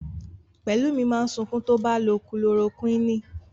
Pẹ̀lúmi máa sunkún tó bá lo Kulorokúìnì.